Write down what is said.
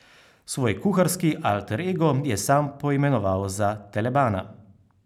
Svoj kuharski alter ego je sam poimenoval za telebana.